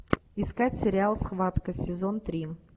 искать сериал схватка сезон три